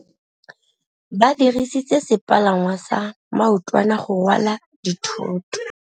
Ba dirisitse sepalangwasa maotwana go rwala dithôtô.